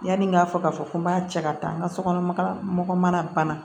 Yanni n k'a fɔ k'a fɔ ko n b'a cɛ ka taa n ka sokɔnɔ mɔgɔ mana bana